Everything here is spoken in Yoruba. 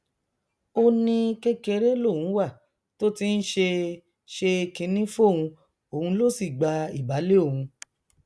ó ní kékeré lòun wà tó ti ń ṣe ṣe kinní fóun òun ló sì gba ìbàlẹ òun